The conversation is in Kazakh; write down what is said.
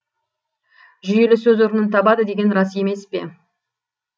жүйелі сөз орнын табады деген бар емес пе